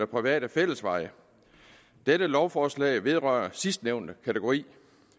private fællesveje dette lovforslag vedrører sidstnævnte kategori